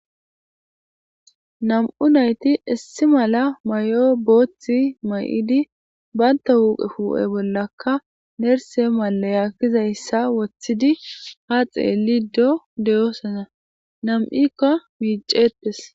Nam'u naytti issi mala mayo booththi bantta huphphe huphphe bollakka nersse maliya gizyssa wooththidii ha xelliddo de'ossonna nami'ikka miiccetes